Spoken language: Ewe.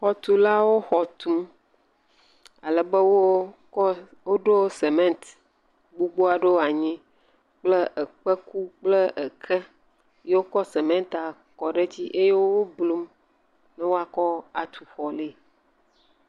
Xɔtuklawo xɔ tum. Ale be wokɔ woɖo simiti gbogbo aɖewo anyi kple ekpeku kple eke eye wokɔ simitia kɔ ɖe edzi eye woblum be woakɔ atu xɔ lɛ.